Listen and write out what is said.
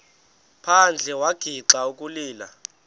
phandle wagixa ukulila